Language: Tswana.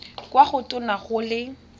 kwa go tona go le